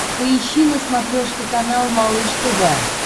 поищи на смотрешке канал малыш тв